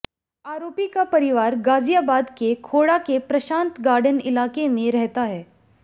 आरोपी का परिवार गाजियाबाद के खोडा के प्रशांत गार्डेन इलाके में रहता है